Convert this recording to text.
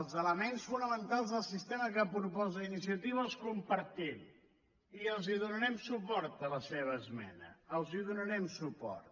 els elements fonamentals del sistema que proposa iniciativa els compartim i hi donarem suport a la seva esmena hi donarem suport